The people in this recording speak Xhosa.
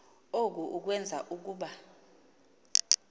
oku kwenza ukuba